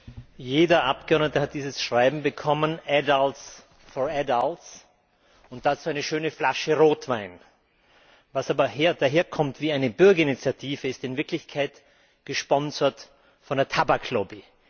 Herr Präsident! Jeder Abgeordnete hat dieses Schreiben bekommen und dazu eine schöne Flasche Rotwein. Was aber daherkommt wie eine Bürgerinitiative ist in Wirklichkeit gesponsert von der Tabaklobby.